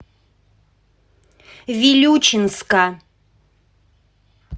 вилючинска